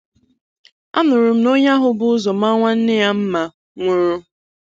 A nụrụ m na onye ahụ bu ụzọ maa nwanne ya mma nwụrụ